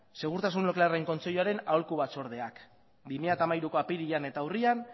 segurtasun nuklearren kontseiluaren aholku batzordeak bi mila hamairuko apirilean eta urrian